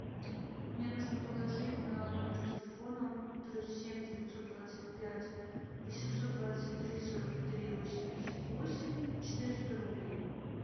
мне нужно положить на номер телефона плюс семь девятьсот двадцать пять восемьсот двадцать три сорок три восемьдесят восемь четыреста рублей